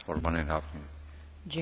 Panie Przewodniczący!